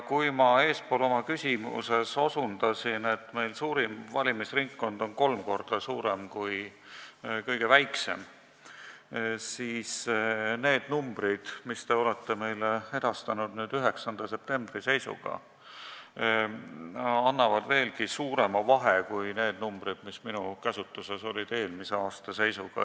Kui ma eespool oma küsimuses osutasin, et suurim valimisringkond on kolm korda suurem kui kõige väiksem, siis need numbrid, mis te meile edastasite 9. septembri seisuga, näitavad veelgi suuremat vahet kui need numbrid, mis olid minu käsutuses ja kajastasid eelmise aasta seisu.